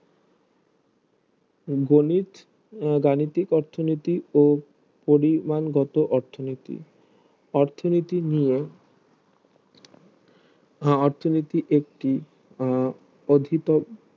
গণিত গাণিতিক অর্থনীতি ও পরিমান গত অর্থনীতি অর্থনীতি নিয়ে অর্থনীতি একটি আহ অধীত